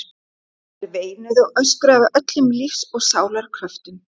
Þær veinuðu og öskruðu af öllum lífs og sálar kröftum.